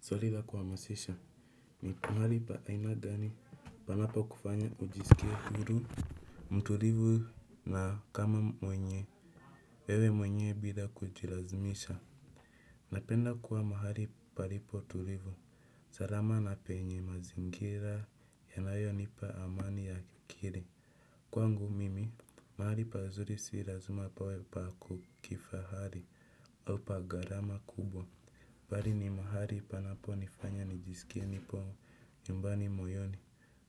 Swali la kuhamasisha, ni mahali pa aina gani panapo kufanya ujisikie huru, mtulivu na kama mwenye, ewe mwenyee bila kujilazimisha. Napenda kuwa mahali palipo tulivu, sarama na penye mazingira, yanayo nipa amani ya akili. Kwa ngu mimi, mahali pazuri sirazima pawe pa kukifahari au pa gharama kubwa. Mbari ni mahali panapo nifanya nijisikie nipo nyumbani moyoni.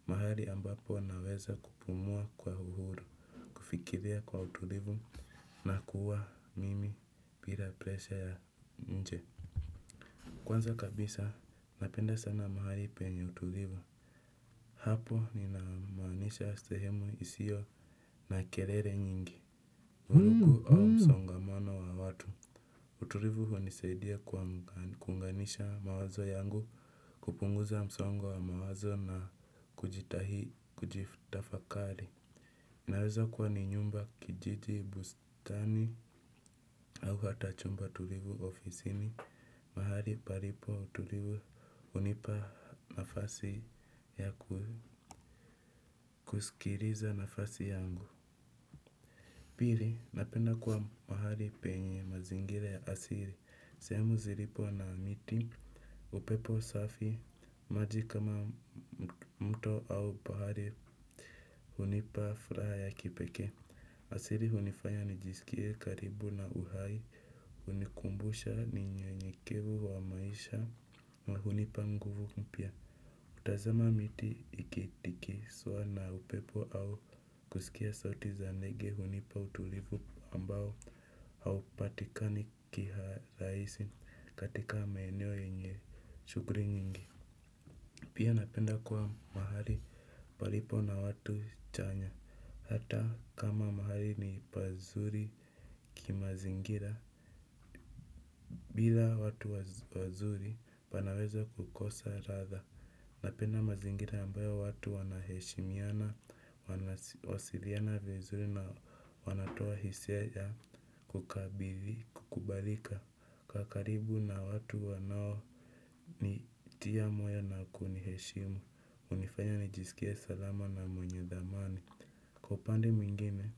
Mahali ambapo naweza kupumua kwa uhuru. Kufikiria kwa utulivu na kuwa mimi bila presha ya nje. Kwanza kabisa napenda sana mahali penye utulivu. Hapo ninamaanisha sehemu isiyo na kerere nyingi au msongamano wa watu. Utulivu hu nisaidia kuunganisha mawazo yangu, kupunguza msongo wa mawazo na kujitahi, kujitafakari. Naweza kuwa ni nyumba kijiji, bustani, au hatachumba tulivu ofisini, mahali paripo utulivu hunipa nafasi ya kusikiriza nafasi yangu. Piri, napenda kuwa mahali penye mazingira ya asiri, sehemu ziripo na miti, upepo safi, maji kama mto au pahari, hunipa furaha ya kipekee. Asiri hunifanya nijisikie karibu na uhai, hunikumbusha ni nye nyekevu wa maisha, na hunipa nguvu mpya. Kutazama miti ikitikiswa na upepo au kusikia sauti za ndege hunipa utulivu ambao haupatikani kiharahisi katika maeneo yenye shuguri nyingi. Pia napenda kuwa mahali palipo na watu chanya. Hata kama mahali ni pazuri kimazingira. Bila watu wazuri panaweza kukosa radha. Napenda mazingira ambayo watu wanaheshimiana, wasiriana vizuri na wanatoa hisia ya kukabili, kukubalika. Kaa karibu na watu wanao nitia moyo na kuniheshimu. Unifanya nijisikie salama na mwenye dhamani. Kwa upande mwingine,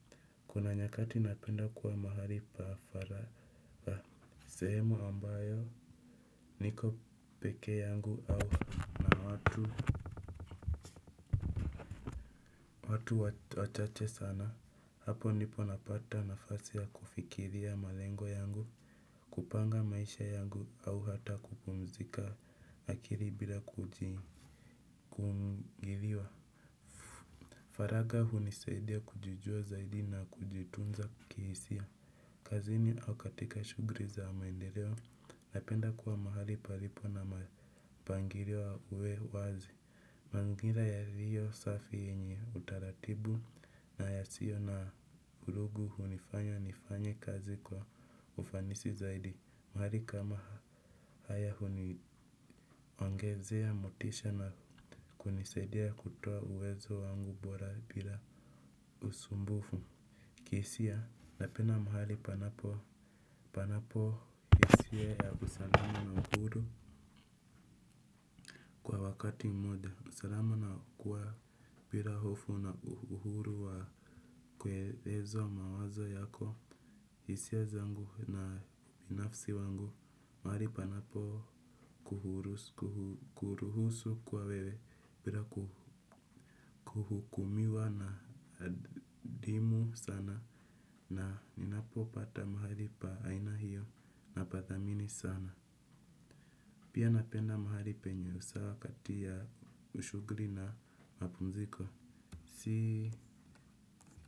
kuna nyakati napenda kuwa mahali paafara. Sehemu ambayo niko peke yangu au na watu watu wachache sana, hapo ndipo napata nafasi ya kufikiria malengo yangu. Kupanga maisha yangu au hata kupumzika akiri bila kujimgiviwa. Faraga hu ni saidi ya kujijua zaidi na kujitunza kihisia. Kazini au katika shugri za maendeleo napenda kuwa mahali palipo na mapangirio uwe wazi. Mangira ya liyo safi yenye utaratibu na ya sio na vurugu hunifanya nifanye kazi kwa ufanisi zaidi. Mahali kama haya ongezea motisha na kunisaidia kutoa uwezo wangu bora bila usumbufu. Kihisia napenda mahali panapo panapo hisia ya usalama na uhuru kwa wakati mmoja, usalama na kuwa bira hofu na uhuru wa kuelezwa mawazo yako hisia zangu na nafsi wangu. Mahali panapo kuhurusu kuruhusu kwa wewe bira ku kuhukumiwa na dimu sana. Na ninapo pata mahali pa aina hiyo na padhamini sana. Pia napenda mahali penye usawa kati ya shugli na mapumziko.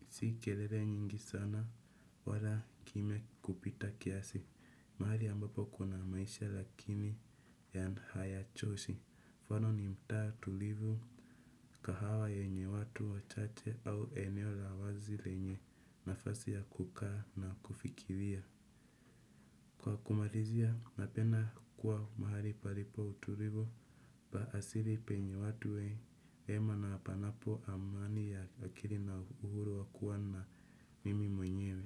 Si kelele nyingi sana wala kime kupita kiasi. Mahali ambapo kuna maisha lakini yan hayachoshi. Fano ni mta tulivu kahawa yenye watu wachache au eneo la wazi lenye nafasi ya kukaa na kufikiria. Kwa kumarizia napenda kuwa mahali palipo utulivu la asiri penye watu wema na panapo amani ya akiri na uhuru wakuwa na mimi mwenyewe.